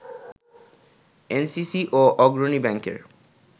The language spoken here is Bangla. এনসিসি ও অগ্রণী ব্যাংকের